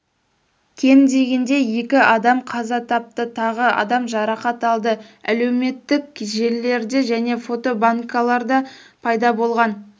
кем дегенде екі адам қаза тапты тағы адам жарақат алды әлеуметтік желілерде және фотобанкаларда пайда болған